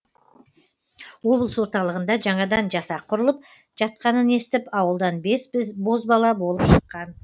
облыс орталығында жаңадан жасақ құрылып жатқанын естіп ауылдан бес бозбала болып шыққан